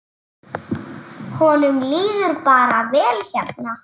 Honum líður bara vel hérna.